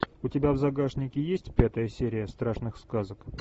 у тебя в загашнике есть пятая серия страшных сказок